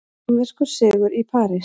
Kínverskur sigur í París